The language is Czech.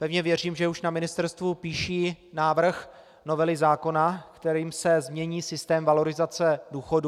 Pevně věřím, že už na ministerstvu píší návrh novely zákona, kterým se změní systém valorizace důchodů.